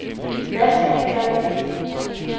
Hvad skal vi gøre ved det?